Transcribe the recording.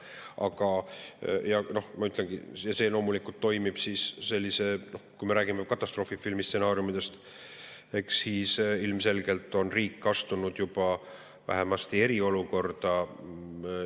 Aga ma ütlen, et loomulikult, kui me räägime katastroofifilmi stsenaariumidest, siis ilmselgelt on riik astunud juba vähemasti eriolukorda.